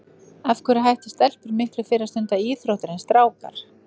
Af hverju hætta stelpur miklu fyrr að stunda íþróttir en strákar?